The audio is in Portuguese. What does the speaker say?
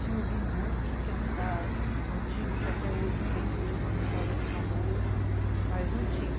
Tinha o Vinduque, que era um bar antigo que até hoje tem, que hoje é um restaurante famoso, mas não tinha.